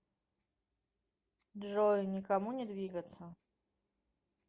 джой никому не двигаться